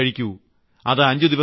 15 ഗുളികകൾ കഴിക്കൂ